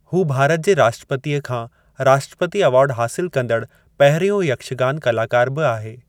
हू भारत जे राष्ट्रपतीअ खां राष्ट्रपति अवार्ड हासिलु कंदड़ु पहिरियों यक्षगान कलाकारु बि आहे।